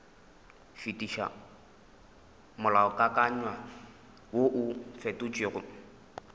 fetiša molaokakanywa woo o fetotšwego